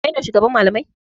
Kai ne shugaban malamai?